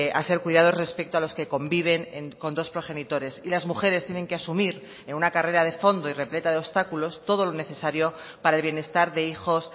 a ser cuidados respecto a los que conviven con dos progenitores y las mujeres tienen que asumir en una carrera de fondo y repleta de obstáculos todo lo necesario para el bienestar de hijos